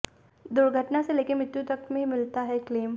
दुर्घटना से लेकर मृत्यु तक में मिलता है क्लेम